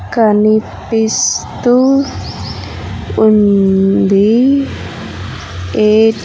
కనిపిస్తూ ఉంది ఎ --